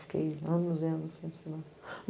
Fiquei anos e anos sem estudar.